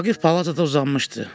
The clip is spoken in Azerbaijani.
Vaqif palatada uzanmışdı.